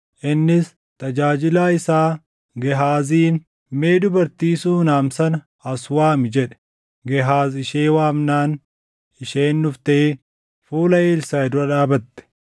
Innis tajaajilaa isaa Gehaaziin, “Mee dubartii Suunam sana as waami” jedhe. Gehaaz ishee waamnaan isheen dhuftee fuula Elsaaʼi dura dhaabatte.